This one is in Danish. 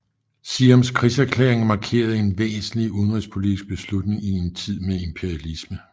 Siams krigserklæring markerede en væsentlig udenrigspolitisk beslutning i en tid med imperialisme